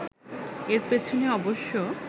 এর পেছনে অবশ্য